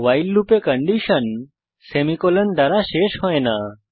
ভাইল loop এ condition semicolon দ্বারা শেষ হয় না